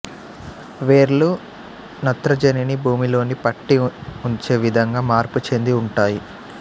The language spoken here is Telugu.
వేర్లు నత్రజనిని భుమిలోనికి పట్టి ఉంచే విధంగా మార్పు చెంది ఉంటాయి